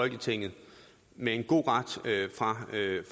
én ting men